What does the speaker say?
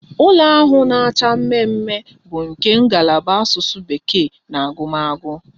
Ụlọ ahụ na-acha mmemme bụ nke ngalaba Asụsụ bekee na agụmagụ